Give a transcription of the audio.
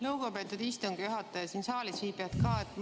Lugupeetud istungi juhataja ja saalis viibijad!